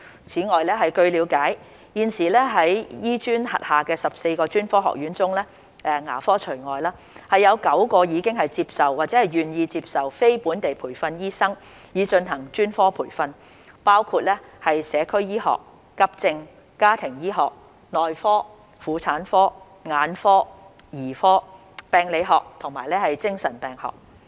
此外，據了解，現時在醫專轄下的14個專科學院中，有9個已接受或願意接受非本地培訓醫生以進行專科培訓，包括社區醫學、急症、家庭醫學、內科、婦產科、眼科、兒科、病理學和精神病學。